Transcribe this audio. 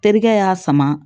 Terikɛ y'a sama